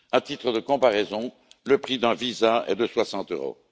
À titre de comparaison, le prix d'un visa est de 60 euros.